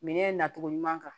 Minɛn nacogo ɲuman kan